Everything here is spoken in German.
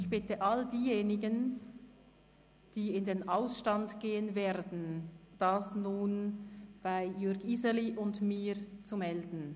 Ich bitte alle diejenigen, die in den Ausstand gehen werden, sich nun bei Jürg Iseli und mir zu melden.